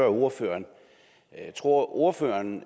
ordføreren tror ordføreren